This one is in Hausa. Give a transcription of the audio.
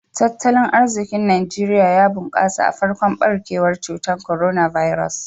Tattalin arzikin Najeriya ya bunkasa a farkon barkewar cutar Coronavirus.